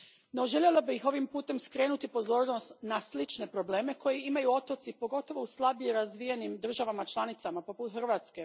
No, željela bih ovim putem skrenuti pozornost na slične probleme koje imaju otoci, pogotovo u slabije razvijenim državama članicama poput Hrvatske.